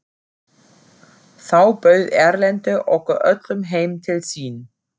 Þá bauð Erlendur okkur öllum heim til sín.